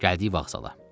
Gəldik vağzala.